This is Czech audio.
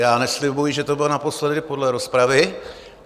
Já neslibuji, že to bude naposledy, podle rozpravy.